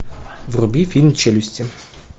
вруби фильм челюсти